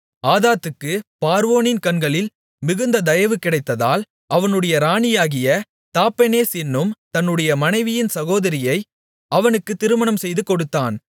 ஆதாதுக்குப் பார்வோனின் கண்களில் மிகுந்த தயவு கிடைத்ததால் அவனுடைய ராணியாகிய தாப்பெனேஸ் என்னும் தன்னுடைய மனைவியின் சகோதரியை அவனுக்குத் திருமணம் செய்துகொடுத்தான்